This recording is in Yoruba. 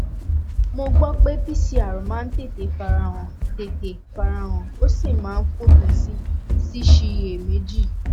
mo gbọ pé pcr v máa ń tètè fara han tètè fara han ó sì máa ń fòpin sí síṣiyèméjì